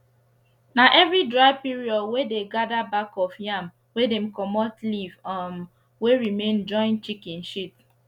na every dry period wey dey gather back of yam wey dem comot leaf um wey remain join chicken shit